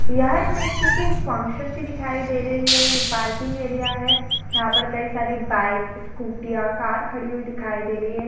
यह इमेज किसी फंक्शन की दिखाई दे रही है। ये पार्किंग एरिया है। यहां पर कई सारी बाइक्स स्कूटी या कार खड़ी हुई दिखाई दे रही है।